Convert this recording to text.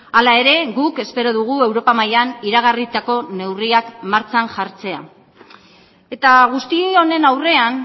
hala ere guk espero dugu europa mailan iragarritako neurriak martxan jartzea eta guzti honen aurrean